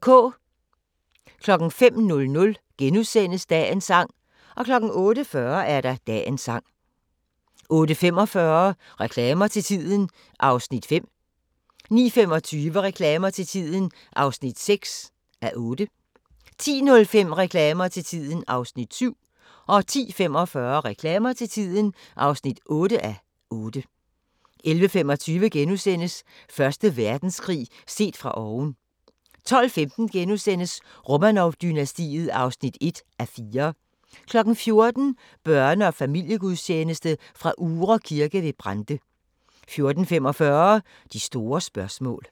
05:00: Dagens sang * 08:40: Dagens sang 08:45: Reklamer til tiden (5:8) 09:25: Reklamer til tiden (6:8) 10:05: Reklamer til tiden (7:8) 10:45: Reklamer til tiden (8:8) 11:25: Første Verdenskrig set fra oven * 12:15: Romanov-dynastiet (1:4) 14:00: Børne- og familiegudstjeneste fra Uhre Kirke ved Brande 14:45: De store spørgsmål